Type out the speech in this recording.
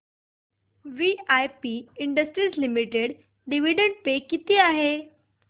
VIP industries limited dividend pay किती आहे